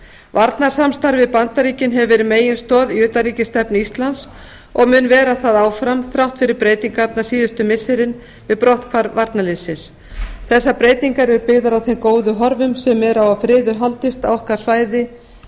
varnarsamstarfið við bandaríkin hefur verið meginstoð í utanríkisstefnu íslands og mun vera það áfram þrátt fyrir breytingarnar síðustu missirin við brotthvarf varnarliðsins þessar breytingar eru byggðar á þeim góðu horfum sem eru á að friður haldist á okkar svæði